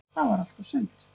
Það var allt og sumt.